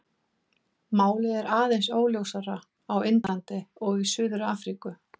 Málið er aðeins óljósara á Indlandi og í Suður-Afríku.